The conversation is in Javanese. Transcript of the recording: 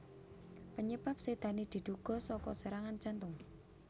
Panyebab sédané diduga saka serangan jantung